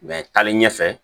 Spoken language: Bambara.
taalen ɲɛfɛ